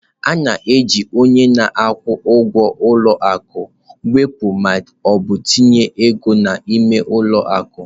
A na-eji onye na-akwụ ụgwọ ụlọ akụ wepụ ma ọ bụ tinye ego n'ime ụlọ akụ.